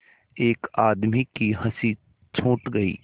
एक आदमी की हँसी छूट गई